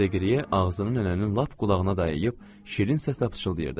Deqliyə ağzını nənənin lap qulağına dayayıb şirin səslə pıçıldayırdı.